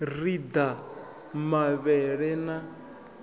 ri u ḓa mavhele na